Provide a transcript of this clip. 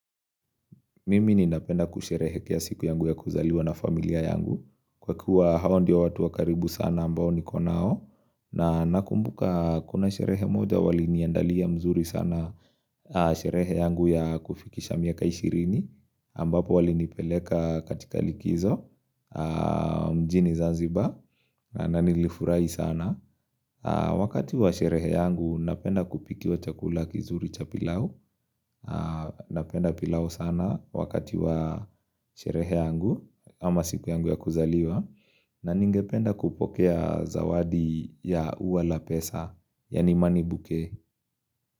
Mimi ninapenda kusherehekea siku yangu ya kuzaliwa na familia yangu Kwa kuwa hawa ndio watu wa karibu sana ambao niko nao na nakumbuka kuna sherehe moja wali niandalia mzuri sana Sherehe yangu ya kufikisha miaka ishirini ambapo walinipeleka katika likizo mjini zanzibar na nilifurai sana Wakati wa sherehe yangu napenda kupikiwa chakula kizuri cha pilau Napenda pilau sana wakati wa sherehe yangu ama siku yangu ya kuzaliwa na ningependa kupokea zawadi ya ua la pesa Yaani money bouquet.